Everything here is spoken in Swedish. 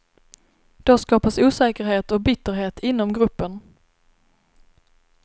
Då skapas osäkerhet och bitterhet inom gruppen.